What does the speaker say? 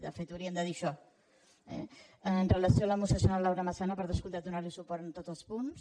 de fet hauríem de dir això eh amb relació a la moció senyora laura massana per descomptat donar li suport en tots els punts